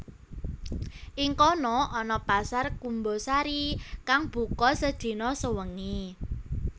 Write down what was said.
Ing kono ana pasar Kumbasari kang buka sedina sewengi